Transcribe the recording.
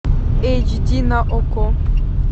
эйч ди на окко